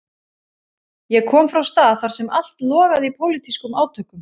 Ég kom frá stað þar sem allt logaði í pólitískum átökum.